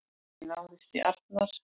Ekki náðist í Arnar